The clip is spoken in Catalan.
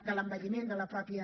de l’envelliment de la mateixa